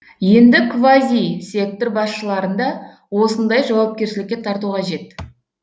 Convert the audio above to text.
енді квазисектор басшыларын да осындай жауапкершілікке тарту қажет